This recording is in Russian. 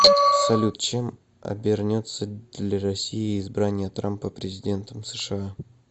салют чем обернется для россии избрание трампа президентом сша